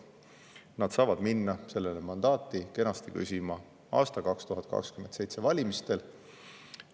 Nad saavad minna sellele mandaati kenasti küsima aasta 2027 valimistel.